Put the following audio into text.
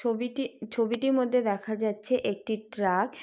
ছবিটি ছবিটির মধ্যে দেখা যাচ্ছে একটি ট্রাক